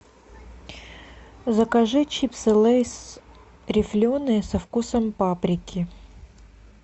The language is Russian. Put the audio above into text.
закажи чипсы лейс рифленые со вкусом паприки